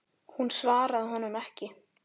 Hún svaraði honum ekki.